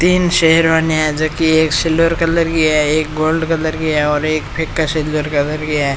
तीन शेरवानी है जोकि एक सिल्वर कलर की है एक गोल्ड कलर की है और एक फिरसे सिल्वर कलर की हैआ एक लाइब्रेरी है।